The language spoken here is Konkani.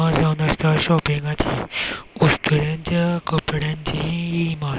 हि मार्ज जावन आसा शोपिंगा ची वस्तुराच्या कपड्यांची हि माज --